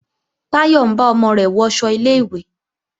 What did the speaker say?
Táyọ̀ ń bá ọmọ rẹ̀ wọṣọ ilé-ìwé